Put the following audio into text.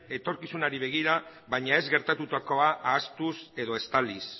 etorkizunari begira baina ez gertatutako ahaztuz edo estaliz